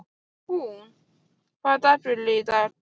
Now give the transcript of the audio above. Húnn, hvaða dagur er í dag?